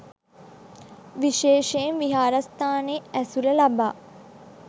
විශේෂයෙන් විහාරස්ථානයේ ඇසුර ලබා